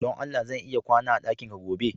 Don Allah ,zan iya kwana a dakinka gobe?